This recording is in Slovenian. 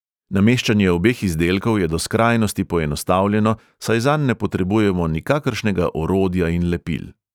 Nameščanje obeh izdelkov je do skrajnosti poenostavljeno, saj zanj ne potrebujemo nikakršnega orodja in lepil.